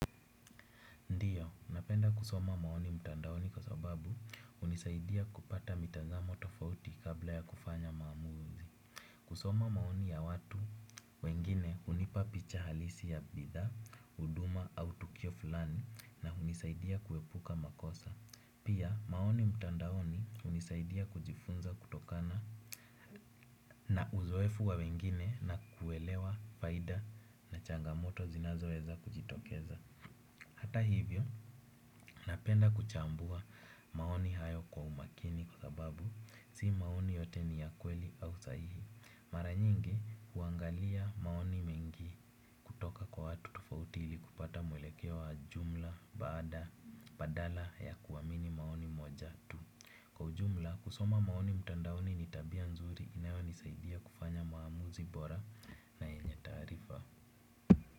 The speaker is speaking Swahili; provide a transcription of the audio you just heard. Pia, napenda kusoma maoni mtandaoni kwa sababu hunisaidia kupata mitazamo tofauti kabla ya kufanya maamuzi. Kusoma maoni ya watu wengine hunipa picha halisi ya bidhaa, huduma au tukio fulani na hunisaidia kuepuka makosa. Pia, maoni mtandaoni hunisaidia kujifunza kutokana na uzoefu wa wengine na kuelewa faida na changamoto zinazoweza kujitokeza. Hata hivyo, napenda kuchambua maoni hayo kwa umakini kwa sababu si maoni yote ni ya kweli au sahihi. Mara nyingi, huangalia maoni mengi kutoka kwa watu tofauti ili kupata mwelekeo wa jumla badala ya kuamini maoni moja tu. Kwa jumla, kusoma maoni mtandaoni ni tabia nzuri inayonisaidia kufanya maamuzi bora na yenye taarifa.